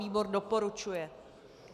Výbor doporučuje.